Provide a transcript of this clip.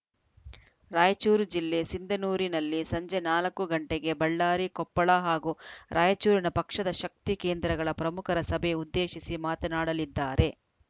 ರಾಯಚೂರು ಜಿಲ್ಲೆ ಸಿಂಧನೂರಿನಲ್ಲಿ ಸಂಜೆ ನಾಲ್ಕು ಗಂಟೆಗೆ ಬಳ್ಳಾರಿ ಕೊಪ್ಪಳ ಹಾಗೂ ರಾಯಚೂರಿನ ಪಕ್ಷದ ಶಕ್ತಿ ಕೇಂದ್ರಗಳ ಪ್ರಮುಖರ ಸಭೆ ಉದ್ದೇಶಿಸಿ ಮಾತನಾಡಲಿದ್ದಾರೆ